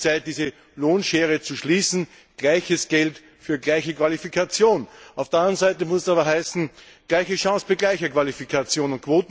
Es ist höchste Zeit, diese Lohnschere zu schließen Gleiches Geld für gleiche Qualifikation. Auf der anderen Seite muss es aber heißen Gleiche Chance für gleiche Qualifikation.